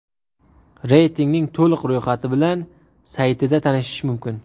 Reytingning to‘liq ro‘yxati bilan saytida tanishish mumkin.